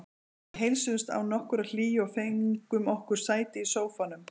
Við heilsuðumst án nokkurrar hlýju og fengum okkur sæti í sófanum.